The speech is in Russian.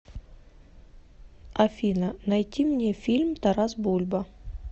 афина найти мне фильм тарас бульба